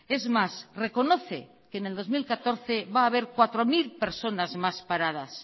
es más reconoce que en el dos mil catorce va haber cuatro mil personas más paradas